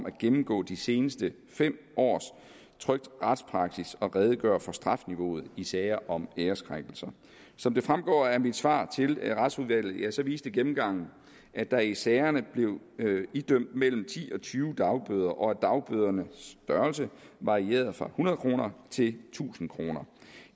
at gennemgå de seneste fem års trykt retspraksis og redegøre for strafniveauet i sager om æreskrænkelse som det fremgår af mit svar til retsudvalget viste gennemgangen at der i sagerne blev idømt mellem ti og tyve dagbøder og at dagbødernes størrelse varierede fra hundrede kroner til tusind kroner